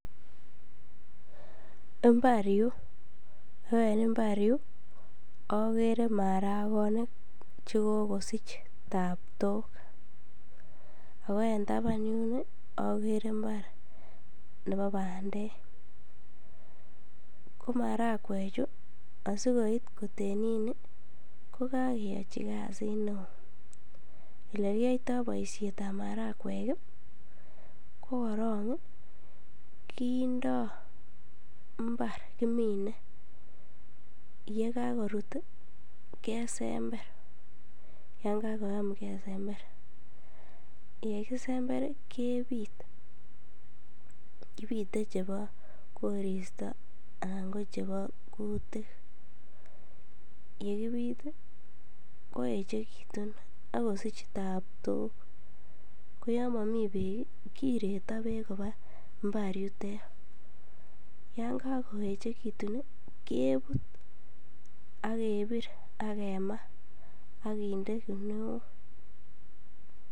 Imbar yuu oo en imbar yuu okere marakonik chekokosich taptok ak ko en taban yuun okere imbar nebo bandek, ko marakwechu asikoit kotenit nii ko kokeyochi kasit neoo, elekiyoito boishetab marakwek ko korong kindo mbar kimine, yekokorut kesember yon kakoyam kesember, yekisember kebit , kibite chebo koristo anan ko chebo kutik, yekibit koechekitun ak kosich taptok, ko yon momii beek kireto beek kobaa imbar yutet, yon kokoechekitun kebut ak kebir ak kemaa ak kinde kinuok.